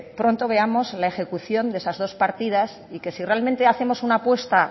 pronto veamos la ejecución de esas dos partidas y que si realmente hacemos una apuesta